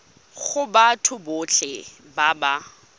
go batho botlhe ba ba